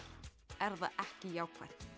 er það ekki jákvætt